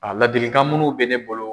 A laadilikan minnu bɛ ne bolo